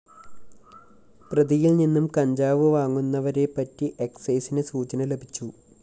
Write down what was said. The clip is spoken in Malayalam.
പ്രതിയില്‍നിന്നും കഞ്ചാവ് വാങ്ങുന്നവരെപ്പറ്റി എക്‌സൈസിന് സൂചന ലഭിച്ചു